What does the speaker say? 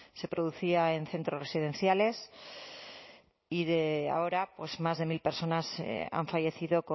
se producía en centros residenciales y de ahora pues más de mil personas han fallecido